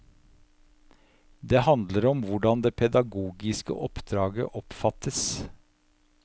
Det handler om hvordan det pedagogiske oppdraget oppfattes.